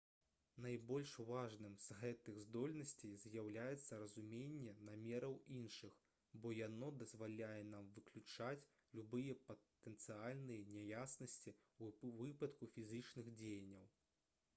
найбольш важным з гэтых здольнасцей з'яўляецца разуменне намераў іншых бо яно дазваляе нам выключаць любыя патэнцыяльныя няяснасці ў выпадку фізічных дзеянняў